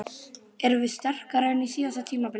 Erum við sterkari en á síðasta tímabili?